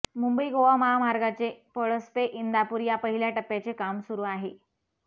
मुंबई गोवा महामार्गाचे पळस्पे इंदापूर या पहिल्या टप्याचे काम सुरू आहे